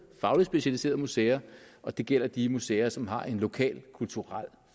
fagligt specialiserede museer og det gælder de museer som har en lokal kulturel